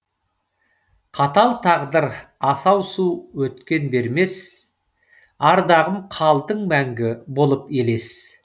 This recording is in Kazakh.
қатал тағдыр асау су өткен бермес ардағым қалдың мәңгі болып елес